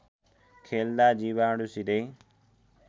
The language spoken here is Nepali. खेल्दा जीवाणु सिधै